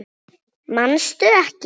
Manstu ekki?